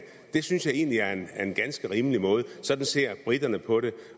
det synes jeg egentlig er en ganske rimelig måde sådan ser briterne på det